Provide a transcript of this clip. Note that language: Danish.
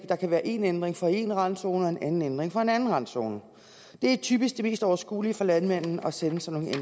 der kan være én ændring for én randzone og en anden ændring for en anden randzone det er typisk det mest overskuelige for landmanden at sende sådan